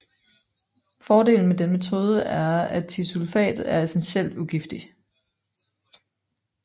Fordelen med denne metode er at thiosulfat er essentielt ugiftig